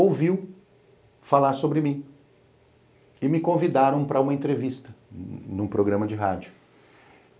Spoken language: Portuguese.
ouviu falar sobre mim e me convidaram para uma entrevista num programa de rádio.